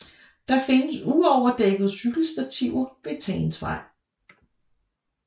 Der findes uoverdækkede cykelstativer ved Tagensvej